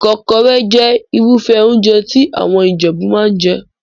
Ìkọ́kọrẹ́ jẹ́ Irúfẹ́ óúnjẹ tí àwọn Ìjẹ̀bú máa ń jẹ